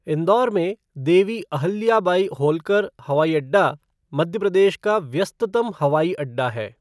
इंदौर में देवी अहिल्याबाई होल्कर हवाई अड्डा मध्य प्रदेश का व्यस्ततम हवाई अड्डा है।